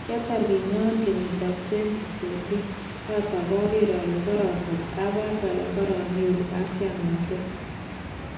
"Kiatar kinyoon kenyitab 2014,osop , oker ole korosop abwat ole koro nyoru katyaknatet.